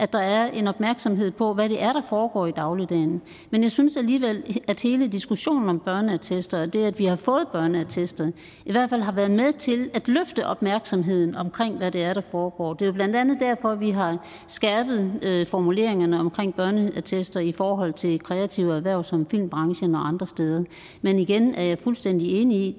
at der er en opmærksomhed på hvad det er der foregår i dagligdagen men jeg synes alligevel at hele diskussionen om børneattester og det at vi har fået børneattester i hvert fald har været med til at løfte opmærksomheden omkring hvad det er der foregår det er jo blandt andet derfor vi har skærpet formuleringerne omkring børneattester i forhold til kreative erhverv som filmbranchen og andre steder men igen er jeg fuldstændig enig i